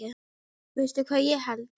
Veistu hvað ég held.